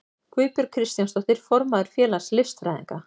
Guðbjörg Kristjánsdóttir, formaður félags listfræðinga.